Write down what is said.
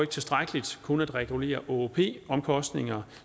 tilstrækkeligt kun at regulere åop omkostninger